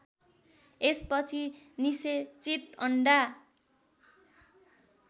यसपछि निषेचित अन्डा